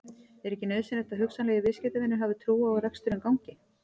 Er ekki nauðsynlegt að hugsanlegir viðskiptavinir hafi trú á að reksturinn gangi?